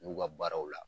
N'u ka baaraw la